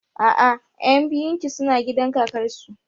A'a, ƴan biyun ki suna gidan kakar su